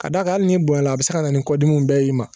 Ka d'a kan hali n'i bonyala a bɛ se ka na ni kɔdimi bɛɛ y'i ma